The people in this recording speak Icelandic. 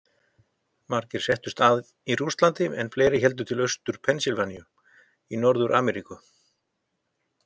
Margir settust að í Rússlandi en fleiri héldu til Austur-Pennsylvaníu í Norður-Ameríku.